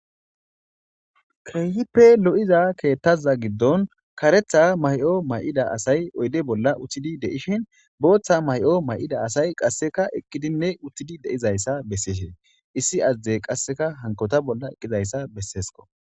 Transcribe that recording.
keehippe lo7iza keettaza giddon karetha may7o may7ida asay oyde bolla uttidi de7ishin booththa may7o may7ida asay qasseka eqqidinne uttidi de7izayssa besseeshiin issi azadey qasseka hankota bolla eqqizayssa besseesko